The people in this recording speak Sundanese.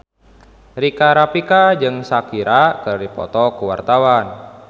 Rika Rafika jeung Shakira keur dipoto ku wartawan